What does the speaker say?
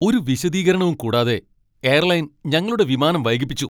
ഒരു വിശദീകരണവും കൂടാതെ എയർലൈൻ ഞങ്ങളുടെ വിമാനം വൈകിപ്പിച്ചു.